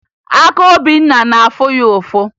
Aka Obinna na-afụ ya ụfụ